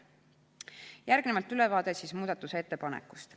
Järgnevalt ülevaade muudatusettepanekust.